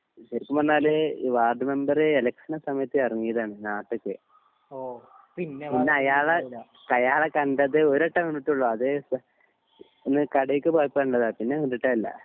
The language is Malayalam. ശെരിക്കും പറഞ്ഞാൽ ഈ വാർഡ് മെമ്പർ എലെക്ഷൻ സമയത്ത് എറങ്ങിയതാണ് നാട്ടിക്ക് പിന്നെ അയാളെ അയാളെ കണ്ടത് ഒരുവട്ടം കണ്ടിട്ടോളു അത് ഒന്ന് കടീക്ക് പോയപ്പോ കണ്ടതാ പിന്നെ കണ്ടിട്ടേ ല്ല